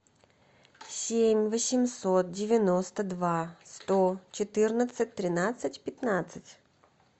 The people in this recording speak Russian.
семь восемьсот девяносто два сто четырнадцать тринадцать пятнадцать